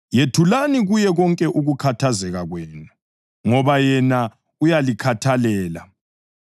Yethulani kuye konke ukukhathazeka kwenu ngoba yena uyalikhathalela.